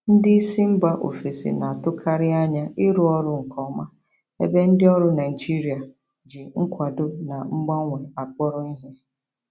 Ndị isi mba ofesi na-atụkarị anya ịrụ ọrụ nke ọma, ebe ndị ọrụ Naijiria ji nkwado na mgbanwe akpọrọ ihe.